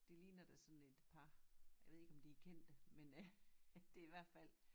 Det ligner da sådan et par jeg ved ikke om de er kendte men øh det i hvert fald